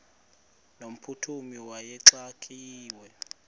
no mphuthumi wayexakiwe